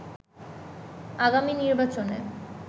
আগামি নির্বাচনে